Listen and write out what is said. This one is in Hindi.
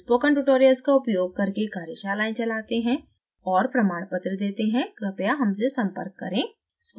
हम spoken tutorials का उपयोग करके कार्यशालाएं चलाते हैं और प्रमाणपत्र देते हैं कृपया हमसे संपर्क करें